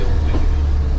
Sizə belə deyim.